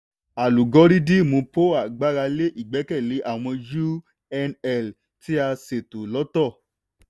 alúgórídìmù poa gbára lé ìgbẹ́kẹ̀lé àwọn unl tí a ṣètò lọ́tọ̀.